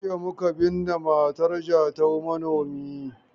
Jiya muka binne matar Jatau manomi.